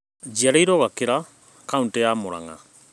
Njĩarĩrwo Gakĩra kaũntĩ ya mũrang'a